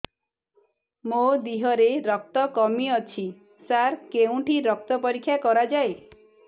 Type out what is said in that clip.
ମୋ ଦିହରେ ରକ୍ତ କମି ଅଛି ସାର କେଉଁଠି ରକ୍ତ ପରୀକ୍ଷା କରାଯାଏ